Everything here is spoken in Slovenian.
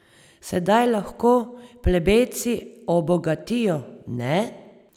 Sedaj lahko plebejci obogatijo, ne?